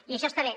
i això està bé